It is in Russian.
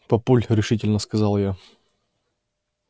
папуль решительно сказала я